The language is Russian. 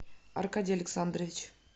аркадий александрович